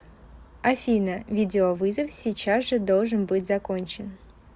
афина видеовызов сейчас же должен быть закончен